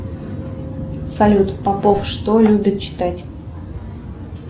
салют попов что любит читать